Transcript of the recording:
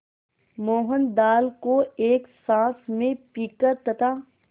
मोहन दाल को एक साँस में पीकर तथा